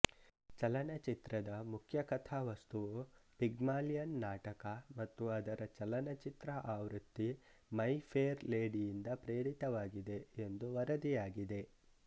ಚಲನಚಿತ್ರದ ಮುಖ್ಯ ಕಥಾವಸ್ತುವು ಪಿಗ್ಮಾಲಿಯನ್ ನಾಟಕ ಮತ್ತು ಅದರ ಚಲನಚಿತ್ರ ಆವೃತ್ತಿ ಮೈ ಫೇರ್ ಲೇಡಿಯಿಂದ ಪ್ರೇರಿತವಾಗಿದೆ ಎಂದು ವರದಿಯಾಗಿದೆ